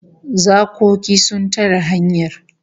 Zakoki sun tare hanyar